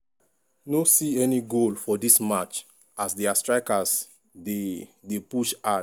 77mins- ball back in play fro di rwandan team for dia own home but dem